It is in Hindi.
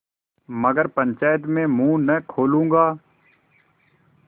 मगर पंचायत में मुँह न खोलूँगा